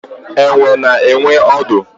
Enwe na enwe odu